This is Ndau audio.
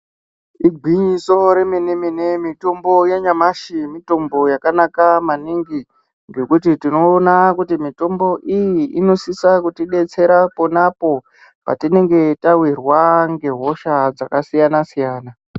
Igwinyiso remene mene mitombo yanyamashi mitombo yakanaka maningi ngekuti tinoona kuti mitombo iyi inosisa kutidetseta ponapo patinenge tawirwa ngehosha dzakasiyana siyana.